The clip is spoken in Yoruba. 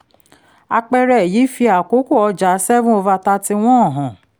àpẹẹrẹ yìí fi àkókò ọjà 7/31 hàn